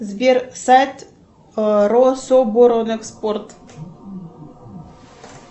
сбер сайт рособоронэкспорт